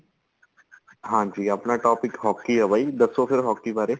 ਹਾਂਜੀ ਆਪਣਾ topic hockey ਏ ਬਾਈ ਦੱਸੋ ਫੇਰ hockey ਬਾਰੇ